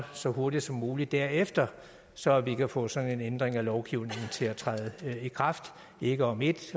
så hurtigt som muligt derefter så vi kan få sådan en ændring af lovgivningen til at træde i kraft ikke om et